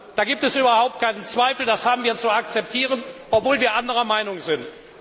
Da gibt es überhaupt keinen Zweifel, das haben wir zu akzeptieren, obwohl wir anderer Meinung sind.